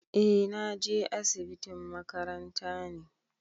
Eh na je asibitin makaranta ne.